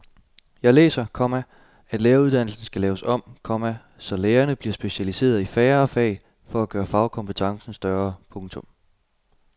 Jeg læser, komma at læreruddannelsen skal laves om, komma så lærerne bliver specialiseret i færre fag for at gøre fagkompetencen større. punktum